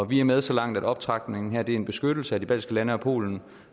vi er med så langt at optrapningen her tjener til en beskyttelse af de baltiske lande og polen